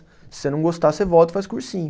Se você não gostar, você volta e faz cursinho.